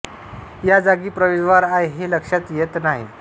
या जागी प्रवेशद्वार आहे हे लक्षात येत नाही